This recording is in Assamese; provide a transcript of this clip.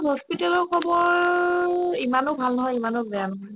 hospital ৰ খবৰ ইমানো ভাল নহয় ইমানো ভাল নহয়